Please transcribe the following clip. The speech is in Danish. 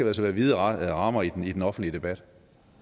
altså være vide rammer i den i den offentlige debat